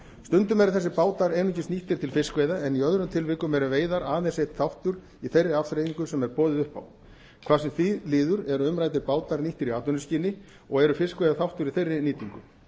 stundum eru þessir bátar einungis nýttir til fiskveiða en í öðrum tilvikum eru veiðar aðeins einn þáttur í þeirri afþreyingu sem er boðið upp á hvað sem því líður eru umræddir bátar nýttir í atvinnuskyni og eru fiskveiðar þáttur í þeirri nýtingu